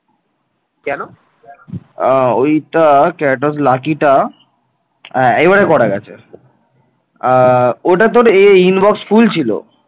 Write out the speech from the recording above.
আ এইবারে করা গেছে আহ ওটা তোর এ inbox full ছিল